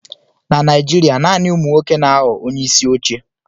Na Naijiria, naanị ụmụ nwoke na-aghọ onyeisi oche.